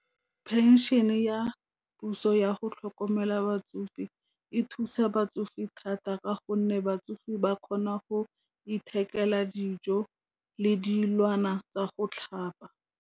Pension-e ya puso ya go tlhokomela batsofe e thusa batsofe thata ka gonne batsofe ba kgona go ithekela dijo le dilwana tsa go tlhapa.